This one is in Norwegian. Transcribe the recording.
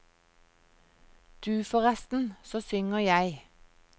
Du forresten, så synger jeg.